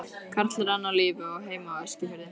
Karl er enn á lífi og á heima á Eskifirði.